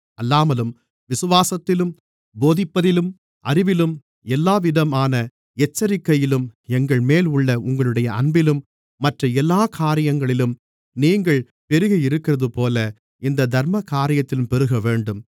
அல்லாமலும் விசுவாசத்திலும் போதிப்பதிலும் அறிவிலும் எல்லாவிதமான எச்சரிக்கையிலும் எங்கள்மேல் உள்ள உங்களுடைய அன்பிலும் மற்ற எல்லாக் காரியங்களிலும் நீங்கள் பெருகியிருக்கிறதுபோல இந்தத் தர்மகாரியத்திலும் பெருகவேண்டும்